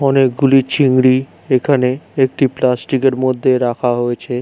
অনেকগুলি চিংড়ি এখানে একটি প্লাস্টিক এর মধ্যে রাখা হয়েছে।